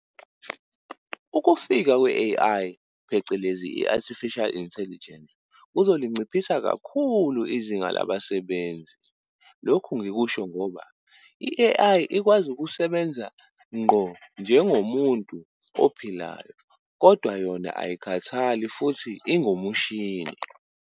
Ukufika kwe-A_I, phecelezi i-Artificial Intelligence, kuzolinciphisa kakhulu izinga labasebenzi. Lokhu ngikusho ngoba i-A_I ikwazi ukusebenza ngqo njengo muntu ophilayo kodwa yona ayikhathali futhi ingumshini.